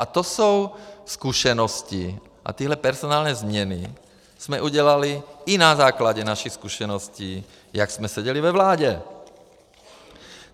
A to jsou zkušenosti a tyhle personální změny jsme udělali i na základě našich zkušeností, jak jsme seděli ve vládě.